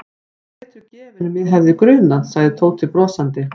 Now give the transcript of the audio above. Þú ert betur gefinn en mig hefði grunað sagði Tóti brosandi.